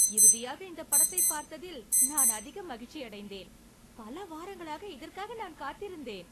இறுதியாக இந்தப் படத்தைப் பார்த்ததில் நான் அதிக மகிழ்ச்சியடைந்தேன்! பல வாரங்களாக இதற்காக நான் காத்திருந்தேன்.